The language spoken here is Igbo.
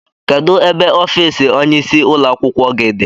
Kedụ ebe ọffici ọnye ịsị ụlọakwụkwọ gị dị?